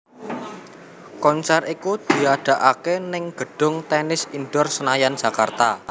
Konser iku diadakaké ning gedung Tennis Indoor Senayan Jakarta